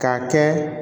K'a kɛ